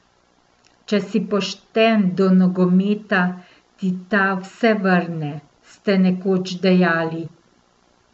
Če si pošten do nogometa, ti ta vse vrne, ste nekoč dejali.